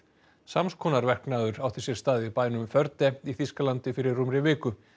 sams konar verknaður átti sér stað í bænum í Þýskalandi fyrir rúmri viku